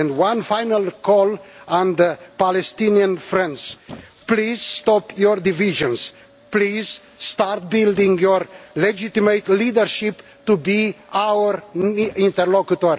One final call on the Palestinian friends please stop your divisions and please start building your legitimate leadership to be our interlocutor.